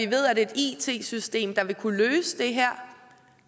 ved at et it system der vil kunne løse